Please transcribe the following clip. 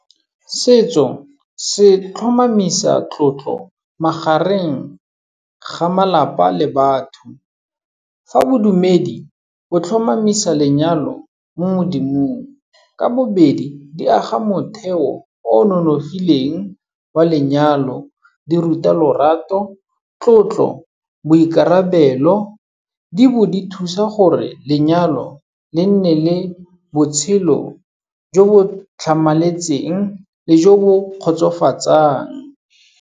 Setso se tlhomamisa tlotlo magareng ga malapa le batho, fa bodumedi bo tlhomamisa lenyalo mo Modimong. Ka bobedi di aga motheo o nonofileng wa lenyalo. Di ruta lorato, tlotlo, boikarabelo, di bo di thusa gore lenyalo le nne le botshelo jo bo tlhamaletseng le jo bo kgotsofatsang.